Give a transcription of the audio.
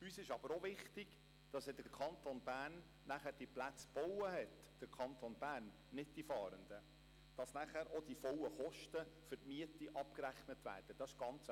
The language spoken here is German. Uns ist aber auch wichtig, dass der Kanton Bern die Plätze gebaut haben wird – der Kanton Bern, nicht die Fahrenden, sodass dann auch die vollen Kosten für die Miete abgerechnet werden.